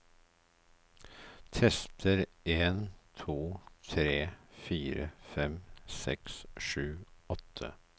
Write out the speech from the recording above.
Tester en to tre fire fem seks sju åtte